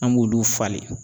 An b'olu falen.